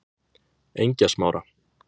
Engjasmára